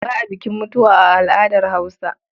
Ba a bukin mutuwa a al'adar Hausa.